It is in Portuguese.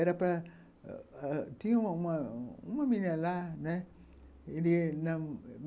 Era para... Tinha uma menina lá, né? Ele não